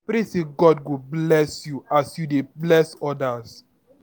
I pray sey God go bless you as you dey bless odas.